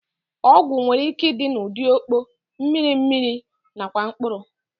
Ọgwụ nwereike ịdị n'ụdị ọkpọ, mmiri mmiri nakwa mkpụrụ